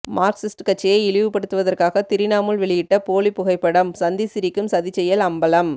Marxist கட்சியை இழிவுபடுத்துவதற்காக திரிணாமுல் வெளியிட்ட போலி புகைப்படம் சந்திசிரிக்கும் சதிச்செயல் அம்பலம்